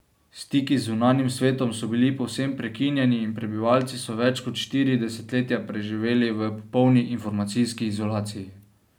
Stiki z zunanjim svetom so bili povsem prekinjeni in prebivalci so več kot štiri desetletja preživeli v popolni informacijski izolaciji.